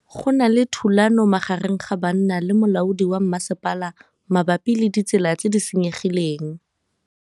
Go na le thulanô magareng ga banna le molaodi wa masepala mabapi le ditsela tse di senyegileng.